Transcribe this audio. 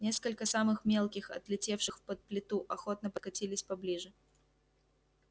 несколько самых мелких отлетевших под плиту охотно подкатились поближе